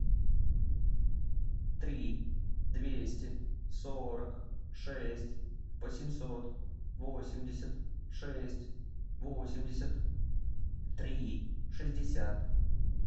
три двести сорок шесть восемьсот восемьдесят шесть восемьдесят три шестьдесят